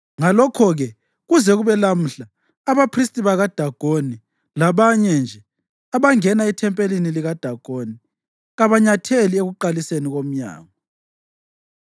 Ngalokho-ke kuze kube lamhla abaphristi bakaDagoni labanye nje abangena ethempelini likaDagoni kabanyatheli ekuqaliseni komnyango.